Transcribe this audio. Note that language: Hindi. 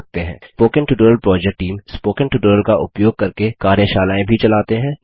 spoken tutorial project team spoken tutorial का उपयोग करके कार्यशालाएँ भी चलाते हैं